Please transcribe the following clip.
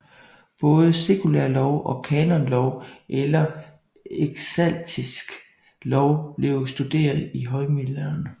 Både sekulær lov og kanonlov eller eklastisk lov blev studeret i højmiddelalderen